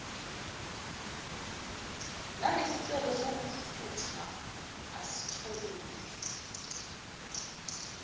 nangesicelo sokuphutha asitholile